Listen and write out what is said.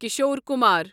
Kishore Kumar